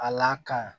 A la kan